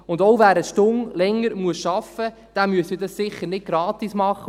Und auch wer eine Stunde länger arbeiten muss, müsste dies ja sicher nicht gratis tun.